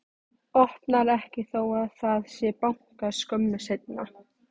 Opnar ekki þó að það sé bankað skömmu seinna.